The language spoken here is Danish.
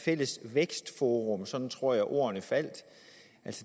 fælles vækstforum sådan tror jeg ordene faldt